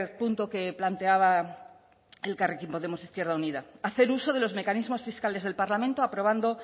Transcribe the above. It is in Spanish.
punto que planteaba elkarrekin podemos izquierda unida hacer uso de los mecanismos fiscales del parlamento aprobando